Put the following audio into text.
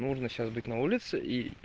нужно сейчас быть на улице и